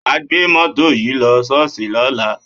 Wà á gbé mọ́tò yìí lọ ṣọ́ọ́ṣì lọ́la!